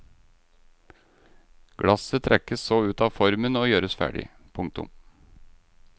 Glasset trekkes så ut av formen og gjøres ferdig. punktum